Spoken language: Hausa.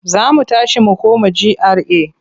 Za mu tashi mu koma GRA.